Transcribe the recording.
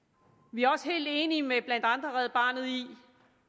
vi er også helt enige med blandt andet red barnet i